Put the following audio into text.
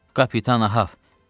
Kapitan Ahab.